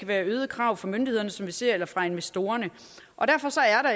være øgede krav fra myndighederne som vi ser det eller fra investorerne